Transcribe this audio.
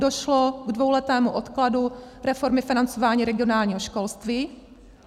Došlo k dvouletému odkladu reformy financování regionálního školství.